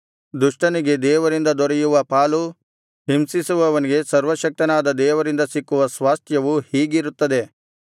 ದುಷ್ಟನಿಗೆ ದೇವರಿಂದ ದೊರೆಯುವ ಪಾಲೂ ಹಿಂಸಿಸುವವನಿಗೆ ಸರ್ವಶಕ್ತನಾದ ದೇವರಿಂದ ಸಿಕ್ಕುವ ಸ್ವಾಸ್ತ್ಯವೂ ಹೀಗಿರುತ್ತದೆ